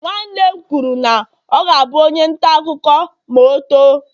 nwanne m kwuru na ọ ga-abụ onye nta akụkọ ma o too